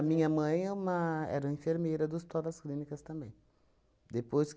A minha mãe é uma, era enfermeira do Hospital das Clínicas também. Depois